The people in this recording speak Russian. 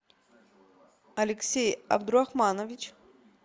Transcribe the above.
алексей абдурахманович